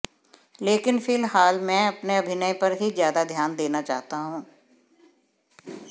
लेकिन फिलहाल मैं अपने अभिनय पर ही ज्यादा ध्यान देना चाहता हूं